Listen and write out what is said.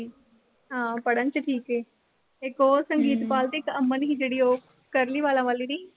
ਹਾਂ ਪੜਨ ਚ ਠੀਕ ਏ। ਇੱਕ ਉਹ ਸੰਗੀਤ ਕੌਰ ਤੇ ਇੱਕ ਅਮਨ ਸੀ ਜਿਹੜੀ ਉਹ curly ਵਾਲਾਂ ਵਾਲੀ ਦੀ।